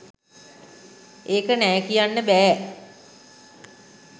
එක නෑ කියන්න බෑ